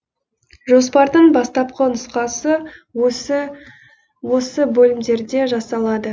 жоспардың бастапқы нұсқасы осы бөлімдерде жасалады